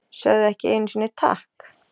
Sögðu ekki einusinni takk!